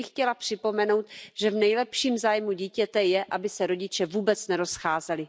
Jen bych chtěla připomenout, že v nejlepším zájmu dítěte je, aby se rodiče vůbec nerozcházeli.